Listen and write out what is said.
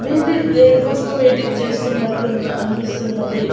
దేనికోసమో waiting చేస్తున్నట్లు ఉన్న అనిపిస్తున్నది.